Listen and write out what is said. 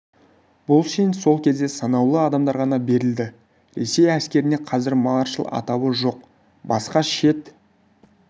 бұл шен сол кезде санаулы адамдарға ғана берілді ресей әскерінде қазір маршал атауы жоқ басқа шет